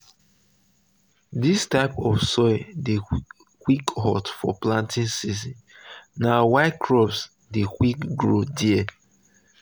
this type of soil dey quick hot for planting season na why crop dey quick grow there.